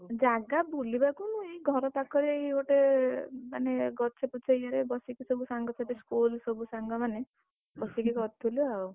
ଜାଗା ବୁଲିବାକୁ ନୁହେ ଘର ପାଖରେ ଏଇ ଗୋଟେ ଗଛ ପଛ ଇଏରେ ସବୁ ସାଙ୍ଗସାଥି school ସବୁ ସାଙ୍ଗ ମାନେ, ବସିକି କରୁଥିଲୁ ଆଉ,